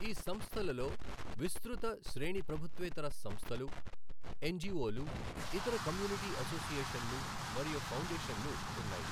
ఈ సంస్థలలో విస్తృత శ్రేణి ప్రభుత్వేతర సంస్థలు, ఎన్జీఓలు ఇతర కమ్యూనిటీ అసోసియేషన్లు మరియు ఫౌండేషన్లు ఉన్నాయి.